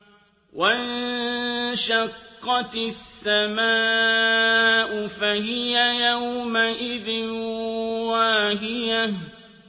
وَانشَقَّتِ السَّمَاءُ فَهِيَ يَوْمَئِذٍ وَاهِيَةٌ